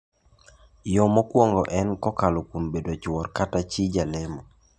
Yo mokongo en kokalo kuom bedo chuor kata chi jalemo.